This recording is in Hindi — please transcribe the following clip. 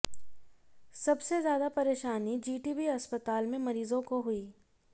सबसे ज्यादा परेशानी जीटीबी अस्पताल में मरीजों को हुई